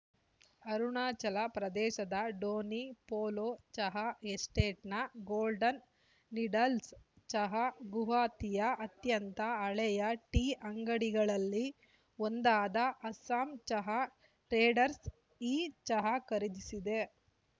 ಅರುಣಾಚಲ ಪ್ರದೇಶದ ಡೋನಿ ಪೋಲೊ ಚಹಾ ಎಸ್ಟೇಟ್‌ನ ಗೋಲ್ಡನ್‌ ನೀಡಲ್ಸ್‌ ಚಹಾ ಗುವಾಹತಿಯ ಅತ್ಯಂತ ಹಳೆಯ ಟೀ ಅಂಗಡಿಗಳಲ್ಲಿ ಒಂದಾದ ಅಸ್ಸಾಂ ಚಹಾ ಟ್ರೇಡರ್ಸ್ ಈ ಚಹಾ ಖರೀದಿಸಿದೆ